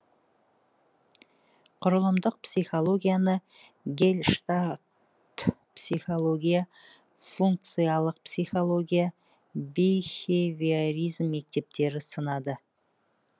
құрылымдық психологияны гельштальтпсихология функциялық психология бихевиоризм мектептері сынады